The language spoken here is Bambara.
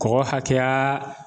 Kɔgɔ hakɛya